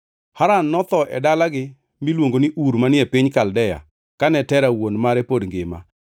Haran notho e dalagi miluongo ni Ur manie piny Kaldea kane Tera wuon mare pod ngima.